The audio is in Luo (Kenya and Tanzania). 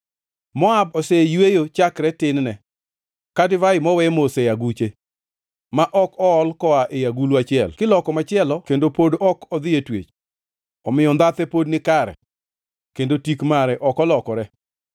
“Moab oseyweyo chakre tin-ne, ka divai mowe mos e aguche, ma ok ool koa ei agulu achiel kiloko machielo kendo pod ok odhi e twech. Omiyo ndhathe pod nikare, kendo tik mare ok olokore.”